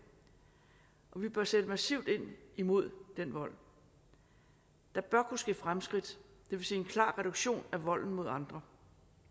vi bør sætte massivt ind mod den vold der bør kunne ske fremskridt det vil sige en klar reduktion af volden mod andre